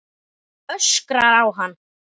Öskrar á hann.